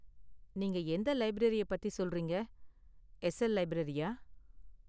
நீங்க எந்த லைப்ரரியை பத்தி சொல்றீங்க? எஸ்எல் லைப்ரரியா?